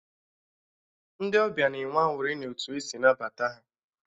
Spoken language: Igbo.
Ndị ọbịa na-enwe aṅụrị n'otu e si nabata ha.